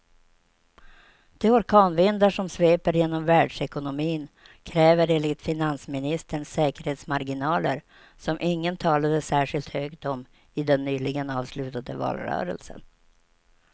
De orkanvindar som sveper genom världsekonomin kräver enligt finansministern säkerhetsmarginaler som ingen talade särskilt högt om i den nyligen avslutade valrörelsen.